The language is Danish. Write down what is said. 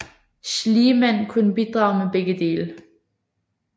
Schlieman kunne bidrage med begge dele